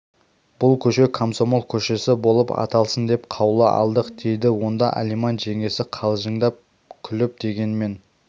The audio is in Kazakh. бұл көше комсомол көшесі болып аталсын деп қаулы алдық дейді онда алиман жеңгесі қалжыңдап күліп дегенмен